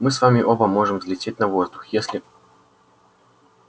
мы с вами оба можем взлететь на воздух если